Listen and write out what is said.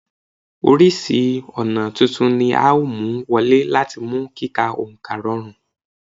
Oríṣiríṣi ọ̀nà titun ni a ó mú wọlé láti mú kí kíka oǹkà rọrùn